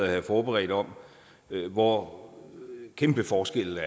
jeg har forberedt om hvor kæmpe forskelle